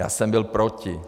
Já jsem byl proti.